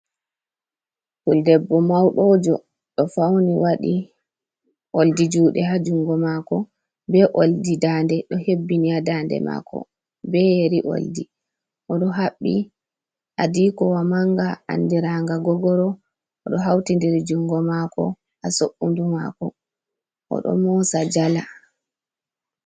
Puldebbo maudojo do fauni wadi oldi jude ha jungo mako be oldi dade do hebbini ha dade mako ,be yeri oldi o do habbi adikowa manga andiranga gogoro o do hauti dir jungo mako ha so’undu mako o do mosa jala.